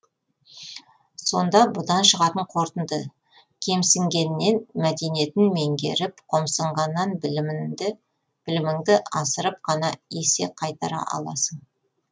сонда бұдан шығатын қорытынды кемсінгеннен мәдениетін меңгеріп қомсынғаннан білімінді асырып қана есе қайтара аласың